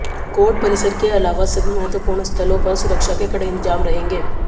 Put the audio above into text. court परिसर के अलावा सभी महत्वपूर्ण स्थलों पर सुरक्षा के कड़े इंतजाम रहेंगे